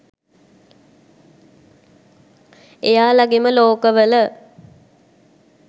එයාලගෙම ලෝක වල.